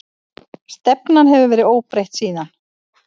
Stefnan hefur verið óbreytt síðan.